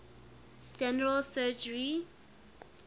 general surgery